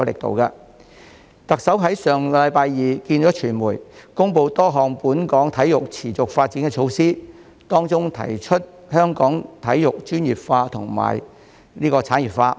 特首於上星期二與傳媒會面，公布多項本港體育持續發展措施，當中提出將香港體育專業化和產業化。